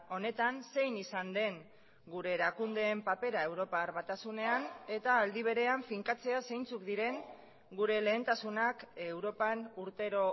honetan zein izan den gure erakundeen papera europar batasunean eta aldi berean finkatzea zeintzuk diren gure lehentasunak europan urtero